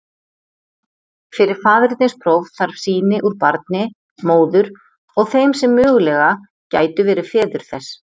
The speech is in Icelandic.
Fyrir faðernispróf þarf sýni úr barni, móður og þeim sem mögulega gætu verið feður þess.